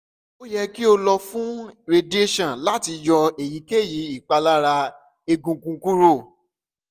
o yẹ ki o lọ fun radiation lati yọ eyikeyi ipalara egungun kuro